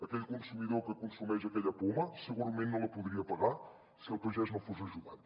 aquell consumidor que consumeix aquella poma segurament no la podria pagar si el pagès no fos ajudat